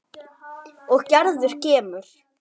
Og Gerður kemur.